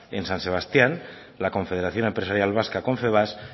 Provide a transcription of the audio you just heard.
en san sebastián la confederación empresarial vasca confebask